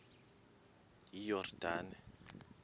iyordane